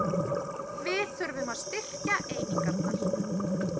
Við þurfum að styrkja einingarnar